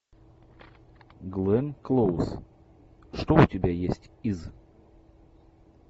гленн клоуз что у тебя есть из